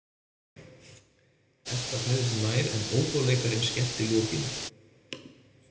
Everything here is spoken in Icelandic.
Edda færði sig nær en óbóleikarinn skellti lokinu.